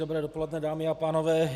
Dobré dopoledne, dámy a pánové.